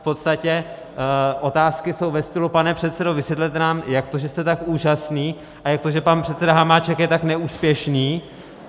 V podstatě otázky jsou ve stylu: pane předsedo, vysvětlete nám, jak to, že jste tak úžasný, a jak to, že pan předseda Hamáček je tak neúspěšný.